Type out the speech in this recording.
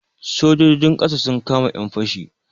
Sojojin ƙasa sun kama 'yan fashi.